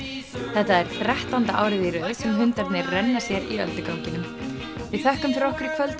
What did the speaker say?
þetta er þrettánda árið í röð sem hundarnir renna sér í ölduganginum við þökkum fyrir okkur í kvöld